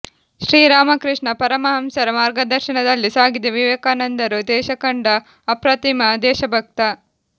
ಶ್ರೀ ರಾಮಕೃಷ್ಣ ಪರಮಹಂಸರ ಮಾರ್ಗದರ್ಶನದಲ್ಲಿ ಸಾಗಿದ ವಿವೇಕಾನಂದರು ದೇಶಕಂಡ ಅಪ್ರತಿಮ ದೇಶಭಕ್ತ